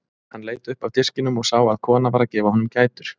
Hann leit upp af diskinum og sá að kona var að gefa honum gætur.